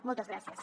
moltes gràcies